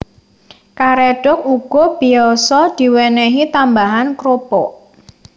Karédhok uga biyasa diwènèhi tambahan krupuk